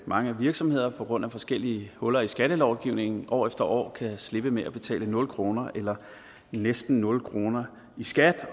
mange virksomheder på grund af forskellige huller i skattelovgivningen år efter år kan slippe med at betale nul kroner eller næsten nul kroner i skat